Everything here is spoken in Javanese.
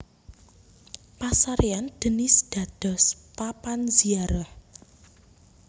Pasarèyan Denis dados papan ziarah